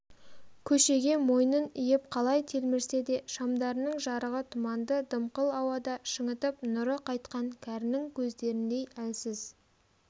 көшеге мойнын иіп қалай телмірсе де шамдарының жарығы тұманды дымқыл ауада шаңытып нұры қайтқан кәрінің көздеріндей әлсіз